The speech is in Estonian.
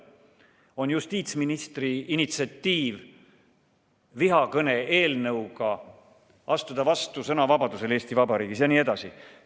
On justiitsministri initsiatiiv vihakõne eelnõuga astuda vastu sõnavabadusele Eesti Vabariigis jne.